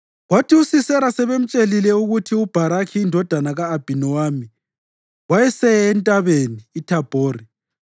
Kwathi uSisera sebemtshelile ukuthi uBharakhi indodana ka-Abhinowami wayeseye eNtabeni iThabhori,